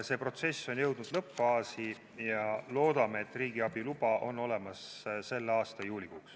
See protsess on jõudnud lõppfaasi ja loodame, et riigiabi luba on olemas selle aasta juulikuuks.